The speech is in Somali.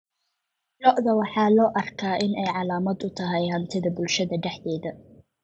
Lo'da waxaa loo arkaa inay calaamad u tahay hantida bulshada dhexdeeda.